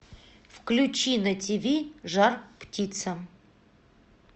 включи на тиви жар птица